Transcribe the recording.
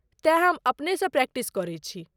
तेँ हम अपनेसँ प्रैक्टिस करैत छी।